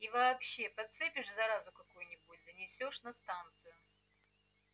и вообще подцепишь заразу какую-нибудь занесёшь на станцию